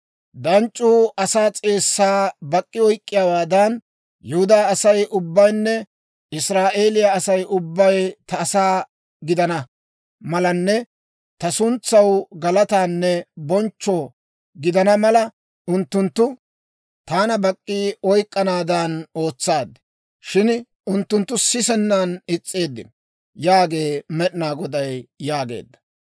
Danc'c'uu asaa s'eessaa bak'k'i oyk'k'iyaawaadan, Yihudaa Asay ubbaynne Israa'eeliyaa Asay ubbay ta asaa gidana malanne ta suntsaw galataanne bonchcho gidana mala, unttunttu taana bak'k'i oyk'k'anaadan ootsaad. Shin unttunttu sisennan is's'eeddino› yaagee Med'inaa Goday» yaageedda.